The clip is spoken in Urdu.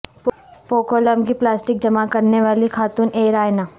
پوکولم کی پلاسٹک جمع کرنے والی خاتون اے رائنا